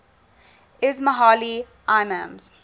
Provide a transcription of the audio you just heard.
ismaili imams